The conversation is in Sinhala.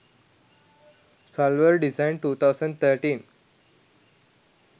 salwar design 2013